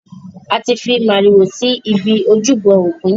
A ti fi màrìwò si ibi ojúbọ ògún.